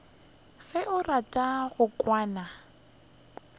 ge o rata go kwana